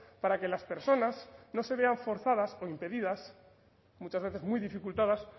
para que las personas no se vean forzadas o impedidas muchas veces muy dificultadas